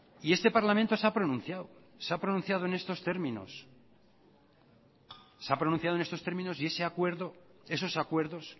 y este parlamento se ha pronunciado esos acuerdos